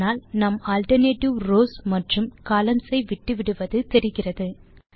இதனால் நாம் alternate rows மற்றும் கொலம்ன்ஸ் ஐ விட்டுவிட்டது தெரிகிறது